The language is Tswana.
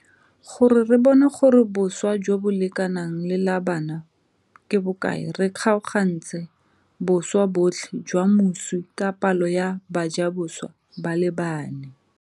Gore re bone gore boswa jo bo lekanang le la bana ke bokae re kgaogantse boswa botlhe jwa moswi ka palo ya bajaboswa ba le bane.